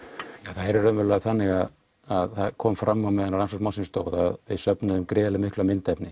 það er raunverulega þannig að það kom fram á meðan á rannsókn málsins stóð að við söfnuðum gríðarlega miklu myndefni